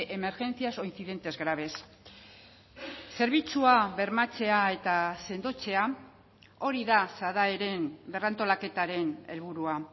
emergencias o incidentes graves zerbitzua bermatzea eta sendotzea hori da sadaeren berrantolaketaren helburua